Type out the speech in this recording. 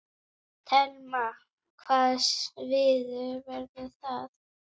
Telma: Hvaða svið verður það?